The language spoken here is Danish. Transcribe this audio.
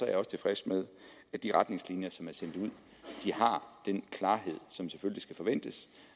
jeg også tilfreds med at de retningslinjer som er sendt ud har den klarhed som selvfølgelig skal forventes